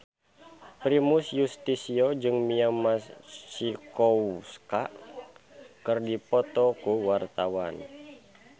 Primus Yustisio jeung Mia Masikowska keur dipoto ku wartawan